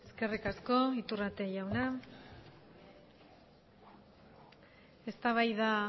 eskerrik asko iturrate jauna eztabaida